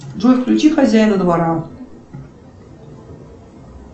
джой включи хозяина двора